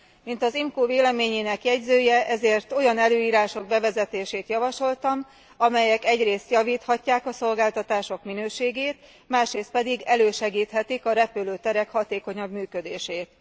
Mint az IMCO véleményének jegyzője ezért olyan előírások bevezetését javasoltam, amelyek egyrészt javíthatják a szolgáltatások minőségét, másrészt pedig elősegíthetik a repülőterek hatékonyabb működését.